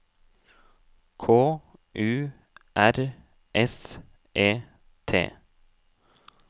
K U R S E T